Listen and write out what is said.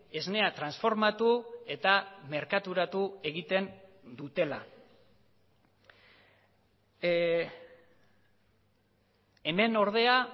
esnea transformatu eta merkaturatu egiten dutela hemen ordea